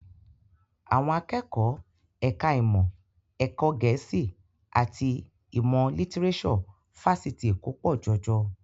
Àwọn akẹ́kọ̀ọ́ ẹ̀ka ìmọ̀ ẹ̀kọ́ Gẹ̀ẹ́sì àti ìmọ̀ lítíréṣọ̀ Fáṣitì Èkó pọ̀ jọjọ